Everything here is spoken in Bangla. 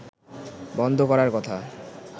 বন্ধ করার কথা